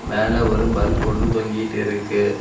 மேல ஒரு பல்ப் ஒன்னு தொங்கிட்டு இருக்கு.